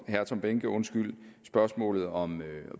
herre tom behnke spørgsmålet om